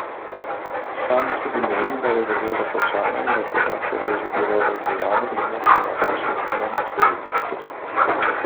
Sam tudi meni, da je zadeva končana in da tega, ker je že bilo razdeljeno, ni moč vnovič deliti.